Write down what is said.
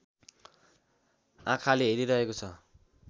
आँखाले हेरिरहेको छ।